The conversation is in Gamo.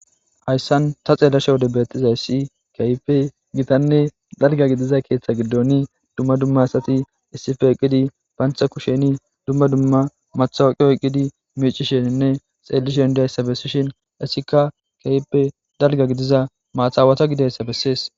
Haysan ta xeelishin betizaysi gittane dalga gidiza ketha gathan duma duma issippe eqidi banta kushene matoqa oykidi micishene xafishe dizaysa besishin hesika kehippe dalga gidiza maxawata ggidoysa beses